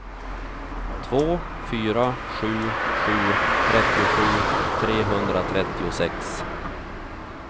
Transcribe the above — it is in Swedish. två fyra sju sju trettiosju trehundratrettiosex